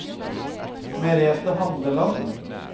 Merete Handeland